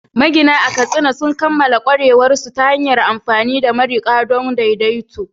Magina a Katsina sun kammala ƙwarewarsu ta hanyar amfani da mariƙi don daidaito